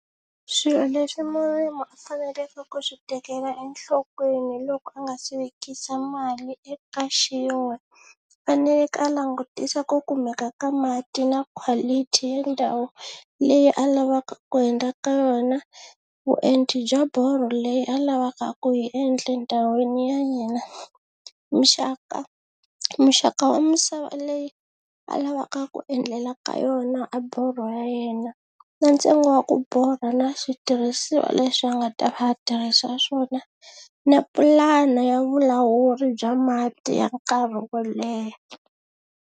Swilo leswi murimi a faneleke ku swi tekela enhlokweni loko a nga si vekisa mali eka xin'we u faneleke a langutisa ku kumeka ka mati na quality ya ndhawu leyi a lavaka ku endla ka yona, vuenti bya borho leyi a lavaka ku yi endle ndhawini ya yena, muxaka muxaka wa misava leyi a lavaka ku endlela ka yona a borho ya yena na ntsengo wa ku borha na switirhisiwa leswi a nga ta va a tirhisa swona na pulana ya vulawuri bya mati ya nkarhi wo leha.